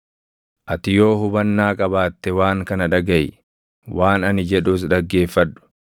“Ati yoo hubannaa qabaatte waan kana dhagaʼi; waan ani jedhus dhaggeeffadhu.